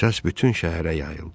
Səs bütün şəhərə yayıldı.